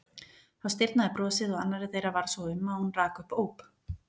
Þá stirðnaði brosið og annarri þeirra varð svo um að hún rak upp óp.